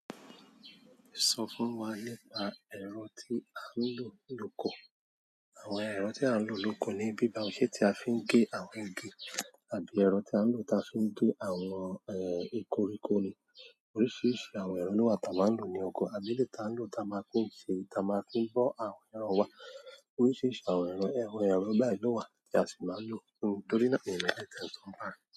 Sọ fún wa nípa ẹ̀rọ tí a ń lò lóko. Àwọn ẹ̀rọ tí a ń lò lóko nibí bawó? Ṣe tí a fi ń gé àwọn igi àbí ẹ̀rọ ti a ń lò ta fi ń gé àwọn ikoriko ni. Oríṣiríṣi àwọn ẹ̀rọ ló wà tá a maa ń lò ní oko, àbí eleyii tá a ń lò tá a máa ń fi n ṣe, tá a máa ń fi bọ́ àwọn ẹran wa. Oríṣiríṣi àwọn ẹ̀rọ, awọ̀n ẹ̀rọ báyìí lọ wà tí a sì máa ń lò torí náà n mo eleyii te n so nípa rẹ.